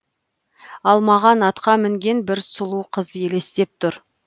ал маған атқа мінген бір сұлу қыз елестеп тұр